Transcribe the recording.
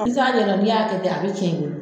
N'i ta ɲɛdɔn n'i y'a kɛ ten a bɛ cɛn i bolo.